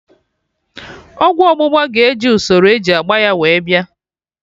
Ọgwụ ọgbụgba ga-eji usoro eji agba ya wee bịa